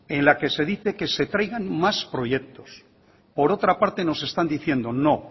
en la que se dice que se traigan más proyectos por otra parte nos están diciendo no